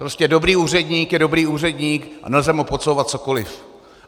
Prostě dobrý úředník je dobrý úředník a nelze mu podsouvat cokoliv.